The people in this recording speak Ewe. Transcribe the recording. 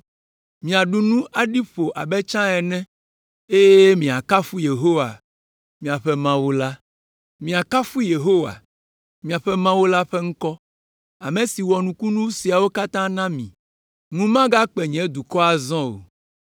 Miaɖu nu aɖi ƒo abe tsã ene eye miakafu Yehowa, miaƒe Mawu la. Miakafu Yehowa, miaƒe Mawu la ƒe ŋkɔ, ame si wɔ nukunu siawo katã na mi. Ŋu magakpe nye dukɔ azɔ o.